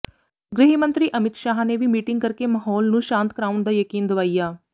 ਗ੍ਰਹਿ ਮੰਤਰੀ ਅਮਿਤ ਸ਼ਾਹ ਨੇ ਵੀ ਮੀਟਿੰਗ ਕਰਕੇ ਮਹੌਲ ਨੂੰ ਸ਼ਾਂਤ ਕਰਾਉਣ ਦਾ ਯਕੀਨ ਦਵਾਇਆ